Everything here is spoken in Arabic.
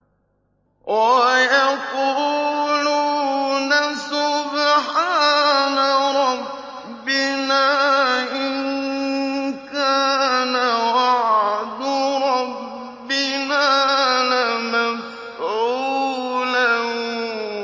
وَيَقُولُونَ سُبْحَانَ رَبِّنَا إِن كَانَ وَعْدُ رَبِّنَا لَمَفْعُولًا